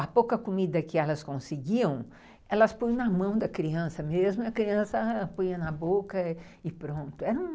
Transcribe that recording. A pouca comida que elas conseguiam, elas põem na mão da criança mesmo e a criança põe na boca e pronto.